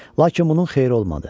Lakin bunun xeyri olmadı.